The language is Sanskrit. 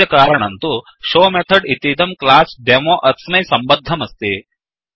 अस्य कारणं तु showशो मेथड् इतीदं क्लास् डेमो डेमो अस्मै सम्बद्धमस्ति